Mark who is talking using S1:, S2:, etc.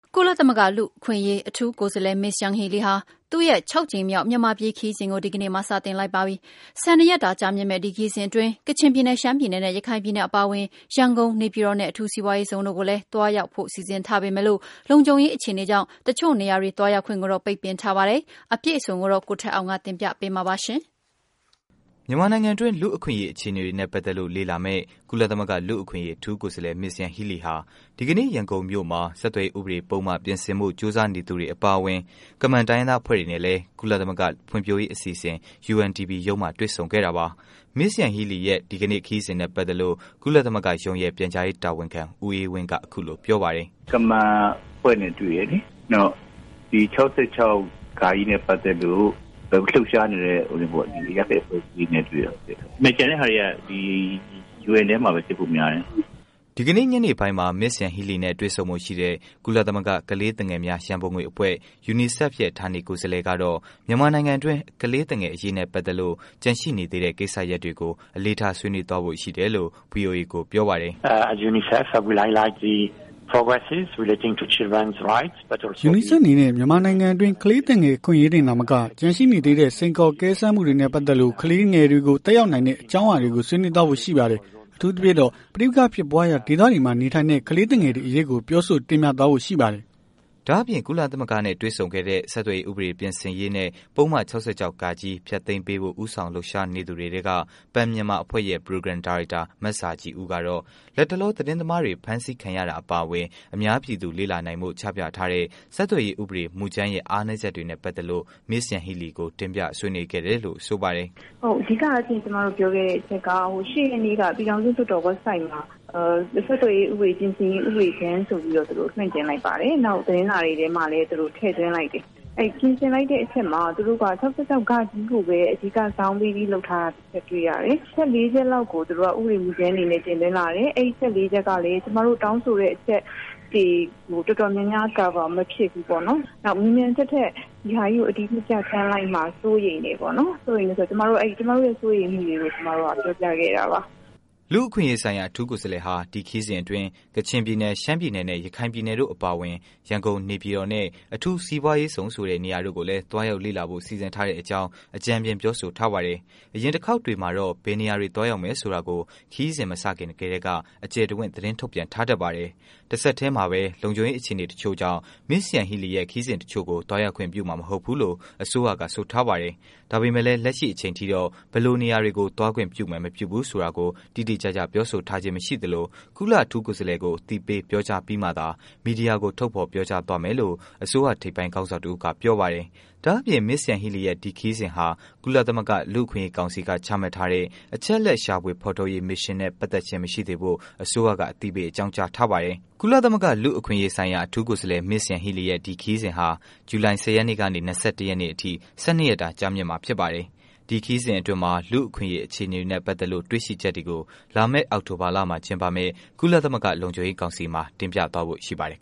S1: ကုလသမဂ္ဂ လူ့အခွင့်အရေး အထူးကိုယ်စားလှယ် Ms.Yanghee Lee ဟာ သူမရဲ့ ၆ ကြိမ်မြောက် မြန်မာပြည် ခရီးစဉ်ကို ဒီကနေ့မှာ စတင်လိုက်ပါပြီ။ ၁၂ ရက်တာ ကြာမြင့်မယ့် ဒီခရီးစဉ်အတွင်း ကချင်ပြည်နယ်၊ ရှမ်းပြည်နယ်နဲ့ ရခိုင်ပြည်နယ်အပါအဝင် ရန်ကုန်၊ နေပြည်တော်နဲ့ အထူးစိးပွားရေးဇုန်တို့ကို လည်း သွားရောက်ဖို့ စီစဉ်ထားပေမယ့်လို့ လုံခြုံရေး အခြေအနေကြောင့် တစ်ချို့နေရာတွေ သွားရောက်ခွင့်ကိုတော့ ပိတ်ပင်ထားပါတယ်။ အပြည့်အစုံကိုတော့ ဆက်သွယ်မေးမြန်းထားတဲ့ ဗွီအိုအေ မြန်မာပိုင်း သတင်းထောက် ကိုထက်အောင်က တင်ပြပေးမှာပါ။
S2: မြန်မာနိုင်ငံတွင်း လူ့အခွင့်အရေး အခြေအနေတွေနဲ့ ပတ်သက်လို့ လေ့လာမယ့် ကုလသမဂ္ဂ လူ့အခွင့်အရေး အထူးကိုယ်စားလှယ် Ms.Yanghee Lee ဟာ ဒီကနေ့ ရန်ကုန်မြို့မှာ ဆက်သွယ်ရေး ဥပဒေ ပုဒ်မ ပြင်ဆင်ဖီု့ ကြိုးစားနေတဲ့သူတွေအပါအဝင် ကမန်တိုင်းရင်းသား အဖွဲ့တွေနဲ့လည်း ကုလသမဂ္ဂ ဖွံဖြိုးရေးအစီအစဉ် UNDP ရုံးမှာ တွေ့ခဲ့ပါတယ်။ Ms.Yanghee Lee ရဲ့ ဒီကနေ့ ခရီးစဉ်နဲ့ ပတ်သက်လို့ ကုလသမဂ္ဂရုံးရဲ့ ပြန်ကြားရေး တာဝန်ခံ ဦးအေးဝင်းက အခုလို ပြောပါတယ်
S1: ။ “ကမန်အဖွဲ့နဲ့တွေ့တယ်လေ။နောက်ပြီး ၆၆ ပတ်သက်လို့လှုပ်ရှားနေတဲ့ ဟိုနင်းပေ့ါ ဒီအရပ်ဖက်အဖွဲ့အစည်း တွေနဲ့တွေ့တယ်။ ကျန်တဲ့ဟာတွေက ဒီ UN ထဲ
S2: မှာပဲဖြစ်ဖို့များတယ်။” ဒီကနေ့ ညနေပိုင်းမှာ Ms.Yanghee Lee နဲ့ တွေ့ဆုံဖို့ရှိတဲ့ ကုလသမဂ္ဂ ကလေးသူငယ်များရန်ပုံငွေအဖွဲ့ UNICEF ဌာနေကိုယ်စားလှယ်ကတော့ မြန်မာနိုင်ငံတွင်း ကလေးသူငယ်အရေးနဲ့ ပတ်သက်လို့ ကျန်ရှိနေသေးတဲ့ ကိစ္စရပ်တွေကို အလေးထား ဆွေးနွေးဖို့ ရှိတယ်လို့ ဗွီအိုအေကို ပြောပါတယ်
S1: ။ “UNICEF
S2: အနေနဲ့ မြန်မာနိုင်ငံတွင်း ကလေးသူငယ်အခွင့်အရေးတွေတင်သာမက ကျန်ရှိနေသေးတဲ့ စိန်ခေါ်အကဲစမ်းမှုတွေနဲ့ ပတ်သက်လို့ ကလေးတွေကို သက်ရောက်နိုင်တဲ့ အကြောင်းအရာတွေကို ဆွေးနွေးသွားဖို့ ရှိပါတယ်။ အထူးသဖြင့်တော့ ပဋိပက္ခာတွေ ဖြစ်ပွားရာ ဒေသတွေမှာ နေထိုင်တဲ့ ကလေးသူငယ်တွေအရေးကို ပြောဆို တင်ပြသွားဖို့ ရှိပါတယ်။” ဒါ့အပြင် ကုလအထူးကိုယ်စားလှယ်နဲ့ တွေ့ဆုံခဲ့တဲ့ ဆက်သွယ်ရေး ဥပဒေ ပြင်ဆင်ရေး နဲ့ ပုဒ်မ ၆၆ ဃ ဖျက်သိမ်းပေးဖို့ ဦးဆောင်လုပ်ရှားနေတဲ့ သူတွေထဲက Pen Myanmar အဖွဲ့ရဲ့ ပရိုဂရမ် ဒါရိုက်တာ မဇာခြည်ဦးကတော့ လက်တလော သတင်းသမားတွေ ဖမ်းဆီးခံရတာအပါအဝင် အများပြည်သူ လေ့လာနိုင်ဖို့ ချပြထားတဲ့ ဆက်သွယ်ရေး ဥပဒေမူကြမ်းရဲ့ အားနည်းချက်တွေနဲ့ ပတ်သက်လို့ Ms.Yanghee Lee ကို တင်ပြဆွေးနွေးခဲ့တယ်လို့ ဆိုပါတယ်။
S1: “ဟုတ်။ အဓိကရှင့်ကျွန်မတို့ပြောခဲ့တဲ့အချက်က ဟို ၈ ရက်နေ့ကပြည်ထောင်စုလွှတ်တော် Websiteမှာ ဆက်သွယ်ရေးဥပဒေပြင်ဆင်ရေး ဥပဒေကြမ်းဆိုပြီးတော့ သူတို့လွှင့်တင်လိုက်ပါတယ်။ နောက်သူတို့သတင်းစာတွေထဲမှာလည်းထည့်သွင်းလိုက်တယ်။အဲ့ပြင်ဆင်လိုက်တဲ့အထဲမှာ သူတို့က ၆၆ ကိုပဲ အဓိကဇောင်းပေးပြီးလုပ်ထားတာတွေ့ရတယ်။ အချက် ၄ ချက်လောက်ကို ဥပဒေကြမ်းဆိုပြီးတင်သွင်း လာတယ်။ အဲ့အချက် ၄ ချက်ကလည်း ကျွန်မတို့တောင်းဆိုတဲ့အချက် ဒီတော်တော်များများ Cover မဖြစ်ဘူး ပေါ့နော်။ နောက်မြန်မြန်ထက်ထက် ဒီဟာကြီးကိုအတည်ပြုပြဌာန်းလိုက်မှာစိုးရိမ်တယ်ပေါ့နော်။ စိုးရိမ်တယ်ဆိုတော့ ကျွန်မတို့ရဲ့အဲ့စိုးရိမ်မှုတွေကို ကျွန်မတို့ကပြောပြခဲ့တာပါ။”
S2: လူ့အခွင့်အရေး ဆိုင်ရာ အထူးကိုယ်စားလှယ်ဟာ ဒီခရီးစဉ်အတွင်း ကချင်ပြည်နယ်၊ ရှမ်းပြည်နယ် နဲ့ ရခိုင်ပြည်နယ်တို့အပါအဝင် ရန်ကုန်နဲ့ နေပြည်တော်နဲ့ အထူးစိးပွားရေးဇုန်ဆိုတဲ့ နေရာတို့ကို သွားရောက်လေ့လာဖို့ စီစဉ်ထားတဲ့အကြောင့် အကြမ်းဖျင်း ပြောဆိုထားပါတယ်။ အရင်တစ်ခေါက်တွေမှာတော့ ဘယ်နေရာတွေ သွားရောက်မယ်ဆိုတာကို ခရီးစဉ်မစခင်ကတည်းက အကျယ်တဝင့် သတင်းထုတ်ပြန်ထားတတ်ပါတယ်။ တစ်ဆက်တည်းမှာပဲ လုံခြုံရေး အခြေအနေတစ်ချို့ကြောင့် Ms.Yanghee Lee ရဲ့ ခရီးစဉ်တစ်ချို့ကို သွားရောက်ခွင့် ပြုမှာ မဟုတ်ဘူးလို့ အစိုးရက ဆိုထားပါတယ်။ ဒါပေမယ့်လည်း လက်ရှိအချိန်ထိတော့ ဘယ်လိုနေရာတွေကို သွားခွင့်ပြုမယ် မပြုဘူးဆိုတာကို တိတိကျကျ ပြောဆိုထားခြင်း မရှိသလို ကုလအထူးကိုယ်စားလှယ်ကို အသိပေး ပြောကြားပြီးမှသာ မီဒီယာကို ထုတ်ဖော်ပြောကြားသွားမယ်လို့ အစိုးရ ထိပ်ပိုင်းခေါင်းဆောင်တစ်ဦးက ပြောပါတယ်။ ဒါ့အပြင် Ms.Yanghee Lee ရဲ့ ဒီခရီးစဉ်ဟာ ကုလသမဂ္ဂ လူ့အခွင့်အရေး ကောင်စီက ချမှတ်ထားတဲ့ အချက်အလက် ရှာဖွေဖော်ထုတ်ရေး မစ်ရှင်နဲ့ ပတ်သက်ခြင်း မရှိစေဖို့ အစိုးရက အသိပေး အကြောင်းကြားထားပါတယ်။ ကုလသမဂ္ဂ လူ့အခွင့်အရေးဆိုင်ရာ အထူးကိုယ်စားလှယ် Ms.Yanghee Lee ရဲ့ ဒီခရီးစဉ်ဟာ ဇူလိုင် ၁၀ ရက်နေ့ကနေ ၂၁ ရက်နေ့အထိ ၁၂ ရက်တာ ကြာမြင့်မှာ ဖြစ်ပါတယ်။ ဒီခရီးစဉ်အတွင်း လူ့အခွင့်အရေးအခြေအနေတွေနဲ့ ပတ်သက်လို့ တွေ့ရှိချက်တွေကို လာမယ့် အောက်တိုဘာလမှာ ကျင်းပမယ့် ကုလသမဂ္ဂ လုံခြုံရေးကောင်စီမှာ တင်ပြသွားဖို့ ရှိပါတယ်